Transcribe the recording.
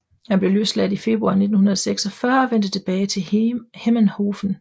Han blev løsladt i februar 1946 og vendte tilbage til Hemmenhofen